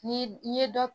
Ni n ye dɔ